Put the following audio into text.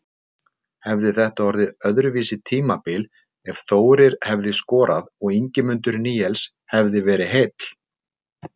Hefði þetta orðið öðruvísi tímabil ef Þórir hefði skorað og Ingimundur Níels hefði verið heill?